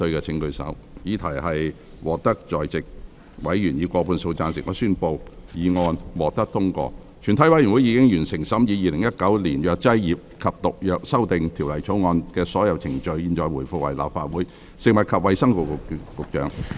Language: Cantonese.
全體委員會已完成審議《2019年藥劑業及毒藥條例草案》的所有程序。現在回復為立法會。